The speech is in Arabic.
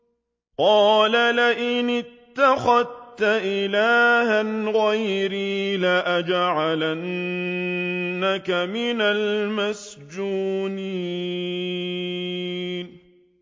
قَالَ لَئِنِ اتَّخَذْتَ إِلَٰهًا غَيْرِي لَأَجْعَلَنَّكَ مِنَ الْمَسْجُونِينَ